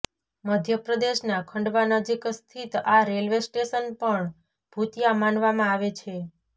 મધ્યપ્રદેશના ખંડવા નજીક સ્થિત આ રેલ્વે સ્ટેશન પણ ભૂતિયા માનવામાં આવે છે